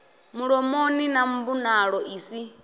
mulomoni na mbonalo i si